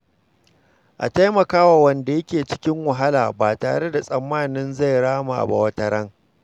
A taimaka wa wanda yake cikin wahala ba tare da tsammanin zai rama ba wataran.